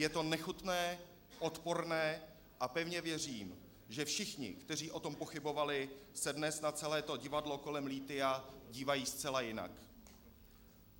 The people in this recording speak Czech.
Je to nechutné, odporné a pevně věřím, že všichni, kteří o tom pochybovali, se dnes na celé to divadlo kolem lithia dívají zcela jinak.